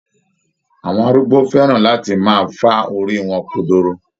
Awọn arúgbo fẹ́ran láti máa fá orí wọn kodoro